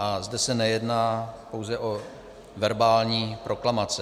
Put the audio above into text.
A zde se nejedná pouze o verbální proklamace.